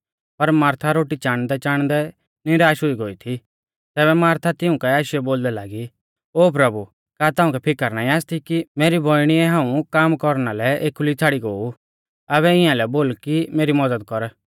पर मारथा रोटी चाणदैचाणदै निराश हुई गोई थी तैबै मारथा तिऊं काऐ आशीयौ बोलदै लागी ओ प्रभु का ताउंकै फिकर नाईं आसती कि मेरी बौइणीऐ हाऊं कामा कौरना लै एखुली छ़ाड़ी गो ऊ आबै इआंलै बोल कि मेरी मज़द कर